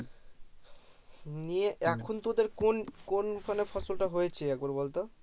নিয়ে এখন তোদের কোন কোন ফসল টা হয়েছে একবার বলতো